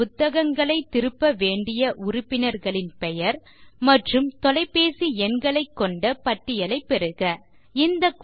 இன்று புத்தகங்களைத் திருப்ப வேண்டிய உறுப்பினர்களின் பெயர் மற்றும் தொலைபேசி எண்களைக் கொண்ட பட்டியலைப் பெறுக 4